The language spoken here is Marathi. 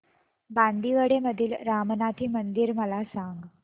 बांदिवडे मधील रामनाथी मंदिर मला सांग